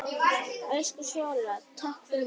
Elsku Svala, takk fyrir mig.